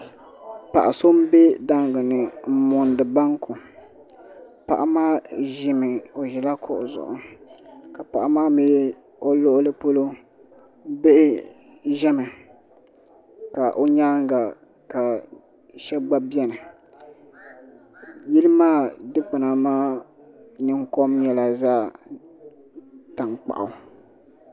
Paɣa so n be daangi ni n mondi banku. Paɣa maa ʒɛ la kuɣu zuɣu ka paɣa mi o luɣuli polo bihi ʒemi ka o nyaaŋa ka shebi gba beni. Yili maa dikpuna maa ninkom nyela zaɣ' tankpaɣu.